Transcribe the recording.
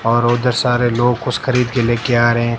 और उधर सारे लोग कुछ खरीद के लेके आ रहे हैं।